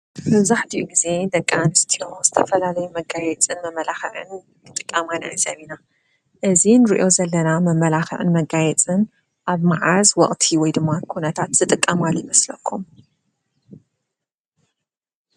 መብዛሕቲኡ ግዜ ደቂ አንስትዮ ዝተፈላለየ መጋየፅን መመላክዕን ክጥቀማ ንዕዘብ ኢና። እዚ ንሪኦ ዘለና መ መላክዕን መጋየፅን አብ መዓዝ ወቅቲ? ወይ ድማ ኩነታት ዝጥቀምሉ ይመስለኩም?